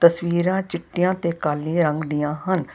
ਤਸਵੀਰਾਂ ਚਿੱਟੀਆਂ ਤੇ ਕਾਲੇ ਰੰਗ ਦੀਆਂ ਹਨ।